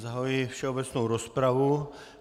Zahajuji všeobecnou rozpravu.